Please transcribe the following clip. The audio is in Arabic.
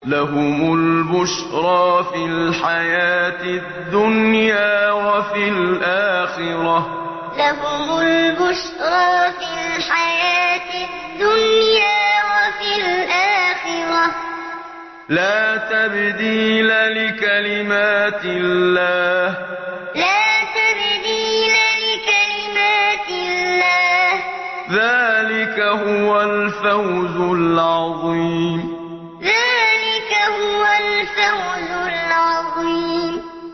لَهُمُ الْبُشْرَىٰ فِي الْحَيَاةِ الدُّنْيَا وَفِي الْآخِرَةِ ۚ لَا تَبْدِيلَ لِكَلِمَاتِ اللَّهِ ۚ ذَٰلِكَ هُوَ الْفَوْزُ الْعَظِيمُ لَهُمُ الْبُشْرَىٰ فِي الْحَيَاةِ الدُّنْيَا وَفِي الْآخِرَةِ ۚ لَا تَبْدِيلَ لِكَلِمَاتِ اللَّهِ ۚ ذَٰلِكَ هُوَ الْفَوْزُ الْعَظِيمُ